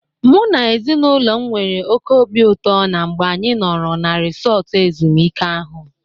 Mụ na ezinaụlọ m nwere oke obi ụtọ na mgbe anyị nọrọ na resọọtụ ezumụike a.